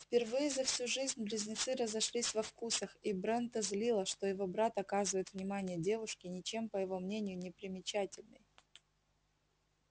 впервые за всю жизнь близнецы разошлись во вкусах и брента злило что его брат оказывает внимание девушке ничем по его мнению не примечательной